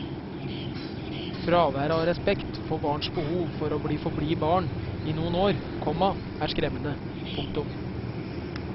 Fraværet av respekt for barns behov for å forbli barn i noen år, komma er skremmende. punktum